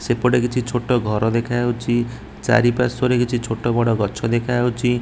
ସେପଟେ କିଛି ଛୋଟ ଘର ଦେଖାଯାଉଛି ଚାରିପାର୍ଶ୍ୱ ରେ କିଛି ଛୋଟ ବଡ଼ ଗଛ ଦେଖାଯାଉଛି।